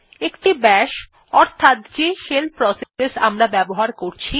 একটি বাশ অর্থাৎ যে শেল প্রসেস আমরা ব্যবহার করছি